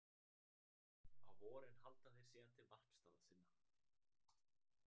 Á vorin halda þeir síðan til varpstaða sinna.